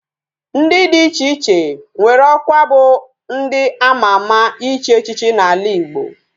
Ndi di iche iche nwere okwa bu ndi ama ama ichi echichi na ala igbo